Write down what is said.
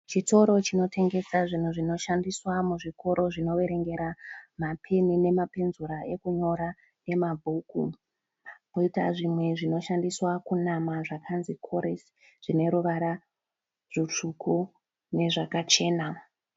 Chitoro chinotengesa zvinhu zvinoshandiswa muzvikoro zvinoverengera mapeni nema penzura ekunyora nemabhuku. Koita zvimwe zvinoshandiswa kunama zvakanzi Kores zvineruvara rutsvuku nezvakachena.